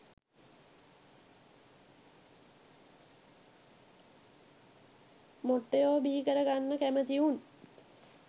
මොට්ටයො බිහිකර ගන්න කැමැති උන්